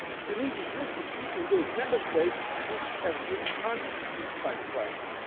conditions. The need is most acute in those Member States which have been hardest hit by